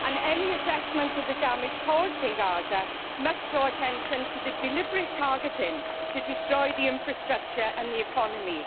Any assessment of the damage caused in Gaza must draw attention to the deliberate targeting to destroy the infrastructure and the economy.